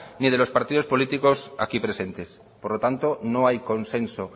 ni de los partido políticos aquí presentes por lo tanto no hay consenso